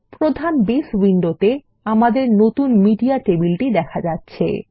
প্রধান বেস উইন্ডোতে আমাদের নতুন মেডিয়া টেবিলটি দেখা যাচ্ছে